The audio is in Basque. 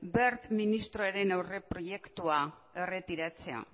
wert ministroaren aurreproiektua erretiratzea